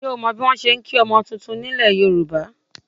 Ǹjẹ́ o mọ bí wọn ṣe ń kí ọmọ titun nílẹ̀ Yorùbá?